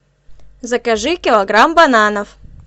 закажи килограмм бананов